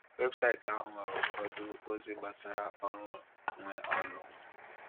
Webụsaịtị ahụ nwere ụfọdụ ozi gbasara ọrụ nwe ụlọ.